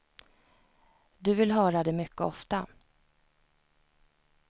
Du vill höra det mycket ofta.